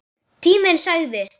Tíminn sagði: